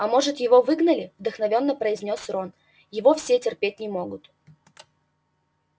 а может его выгнали вдохновенно произнёс рон его все терпеть не могут